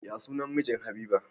Ya sunan mijin habiba?